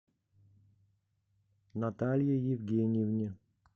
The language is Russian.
наталье евгеньевне